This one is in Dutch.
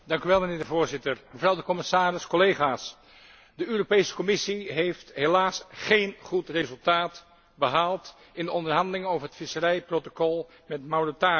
Voorzitter, mevrouw de Commissaris, collega's, de Europese Commissie heeft helaas geen goed resultaat behaald in de onderhandelingen over het visserijprotocol met Mauritanië.